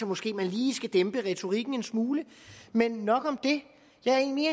måske lige skal dæmpe retorikken en smule men nok om det jeg er egentlig